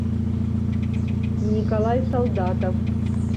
николай солдатов